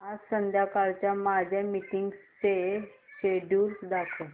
आज संध्याकाळच्या माझ्या मीटिंग्सचे शेड्यूल दाखव